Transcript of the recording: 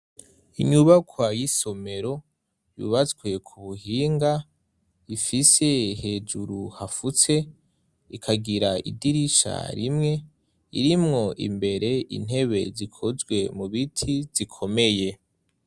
Inyubakwa y'isomero yubatswe ku buhinga ifise hejuru hafutse ikagira idirisha rimwe irimwo imbere intebe zikozwe mu biti zikomeye.